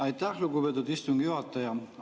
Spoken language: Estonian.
Aitäh, lugupeetud istungi juhataja!